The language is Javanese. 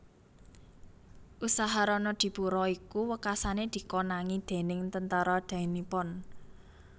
Usaha Ronodipuro iku wekasané dikonangi déning Tentara Dai Nippon